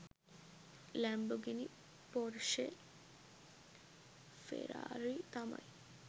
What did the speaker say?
Lamborghini Porsche Ferrari තමයි